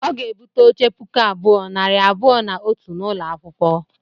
Ọ ga-egbute oche puku abụọ, nari abụọ na otu n'ụlọ akwụkwọ.